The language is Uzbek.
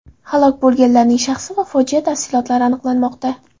Halok bo‘lganlarning shaxsi va fojia tafsilotlari aniqlanmoqda.